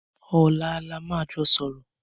Ọlà là mà jọ sọrọ